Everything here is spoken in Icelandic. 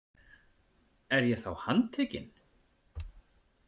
Er ég þá handtekinn?